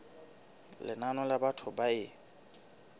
lenane la batho ba e